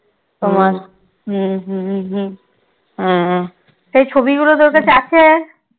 তোমার সেই ছবিগুলো তোর কাছে আছে?